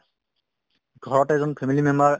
ঘৰতে এজন family member